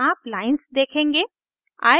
आप लाइन्स देखेंगे :